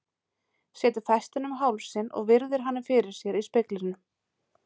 Setur festina um hálsinn og virðir hana fyrir sér í speglinum.